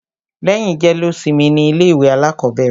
Lẹ́yìn jẹ́lósimi ni ilé ìwé alákọ̀bẹ̀rẹ̀.